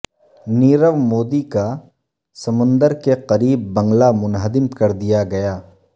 نیروو مودی کا سمندر کے قریب بنگلہ منہدم کردیا گیا